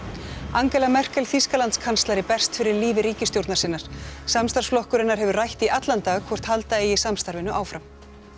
Angela Merkel Þýskalandskanslari berst fyrir lífi ríkisstjórnar sinnar samstarfsflokkur hennar hefur rætt í allan dag hvort halda eigi samstarfinu áfram